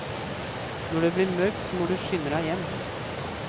Når det blir mørkt må du skynde deg hjem.